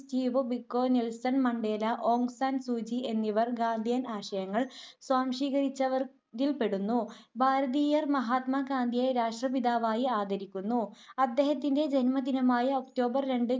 Steve Biko, Nelson Mandela, Aung San Suu Kyi എന്നിവർ ഗാന്ധിയൻ ആശയങ്ങൾ സ്വാംശീകരിച്ചവരിൽപെടുന്നു. ഭാരതീയർ മഹാത്മാഗാന്ധിയെ രാഷ്ട്രപിതാവായി ആദരിക്കുന്നു. അദ്ദേഹത്തിന്റെ ജന്മദിനമായ ഒക്ടോബർ രണ്ട്